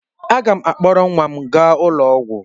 Aga m akpọrọ nwa m gaa ụlọ ọgwụ.